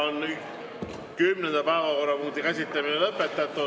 Kümnenda päevakorrapunkti käsitlemine on lõpetatud.